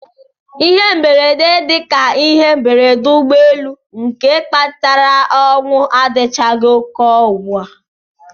Ihe mberede dị ka ihe mberede ụgbọelu nke kpatara ọnwụ adịchaghị ụkọ ugbu a.